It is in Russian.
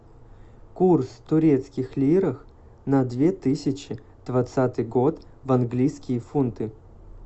курс турецких лиров на две тысячи двадцатый год в английские фунты